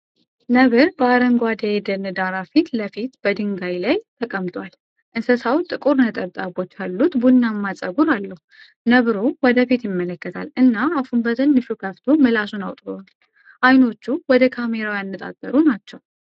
ነብር በአረንጓዴ የደን ዳራ ፊት ለፊት በድንጋይ ላይ ተቀምጧል። እንስሳው ጥቁር ነጠብጣቦች ያሉት ቡናማ ፀጉር አለው። ነብሩ ወደ ፊት ይመለከታል እና አፉን በትንሹ ከፍቶ ምላሱን አውጥቷል። ዓይኖቹ ወደ ካሜራው ያነጣጠሩ ናቸው።